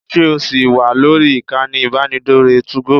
Ṣé ò ṣì wà lórí ìkànnì ìbánidọ́rẹ̀ẹ́ 2go?